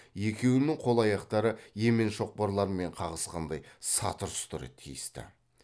екеуінің қол аяқтары емен шоқпарлармен қағысқандай сатыр сұтыр тиісті